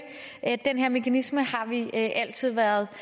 den her mekanisme har vi altid været